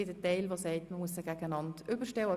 Andere sagen, man müsse sie einander gegenüberstellen.